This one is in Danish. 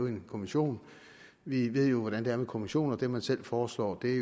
en kommission vi ved jo hvordan det er med kommissioner dem man selv foreslår er